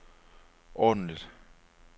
ordentligt